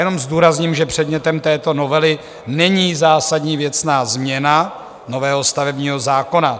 Jenom zdůrazním, že předmětem této novely není zásadní věcná změna nového stavebního zákona.